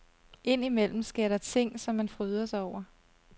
Ind imellem sker der ting, som man fryder sig over.